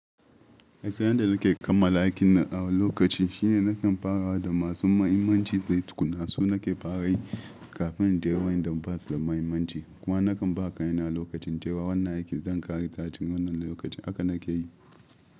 Hatsarin da nake kammala aikin na a lokaci shine nakan fara da masu mahimmanci dai tukuna su nake fara yi kafin in je wa'inda basu da mahimmanci. Kuma nakan ba ka yana lokacin cewa wannan aikin zan ƙare ka a cikin wannan lokacin aka nake yi.